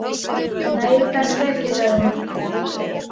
Nei, kannski ekki, sagði hún.